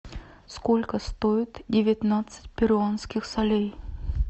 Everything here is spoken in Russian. сколько стоит девятнадцать перуанских солей